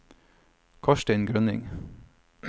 Karsten Grønning